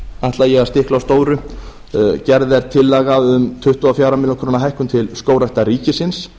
ætla ég að stikla á stóru gerð er tillaga um tuttugu og fjögur ár hækkun til skógræktar ríkisins